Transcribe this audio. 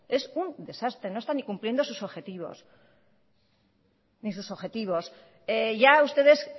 es un desastre no está ni cumpliendo sus objetivos ni sus objetivos ya ustedes